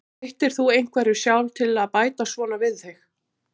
Breyttir þú einhverju sjálf til að bæta svona við þig?